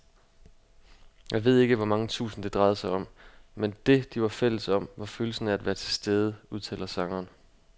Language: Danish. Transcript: Jeg ved ikke hvor mange tusind, det drejede sig om, men det, de var fælles om, var følelsen af at være tilstede, udtaler sangeren.